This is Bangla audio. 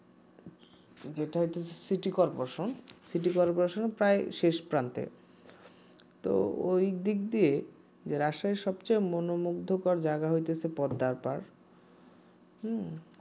যেটা হইতেছে সিটি কর্পোরেশন সিটি কর্পোরেশনের প্রায় শেষ প্রান্তে তো ওই দিক দিয়ে যে রাজশাহীর সবথেকে মনমুগ্ধকর জায়গা হইতেছে পদ্মার পাড় হম